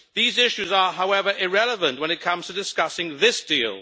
These issues are, however, irrelevant when it comes to discussing this deal.